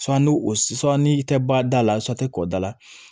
ni o ni i tɛ bɔ a da la tɛ kɔda la